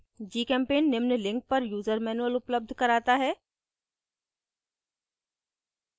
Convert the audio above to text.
gchempaint निम्न link पर user manual उपलब्ध कराता है